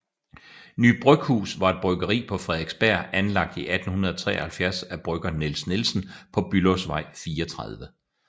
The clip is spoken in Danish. Ny Bryghus var et bryggeri på Frederiksberg anlagt i 1873 af brygger Niels Nielsen på Bülowsvej 34